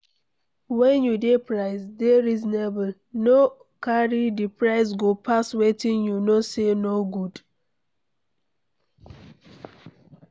when you dey price, dey reasonable, no carry di price go pass wetin you know sey no good